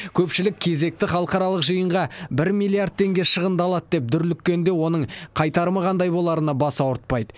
көпшілік кезекті халықаралық жиынға бір миллиард теңге шығындалады деп дүрліккенде оның қайтарымы қандай боларына бас ауыртпайды